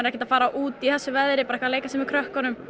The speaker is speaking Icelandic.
ekkert að fara út í þessu veðri að leika sér með krökkunum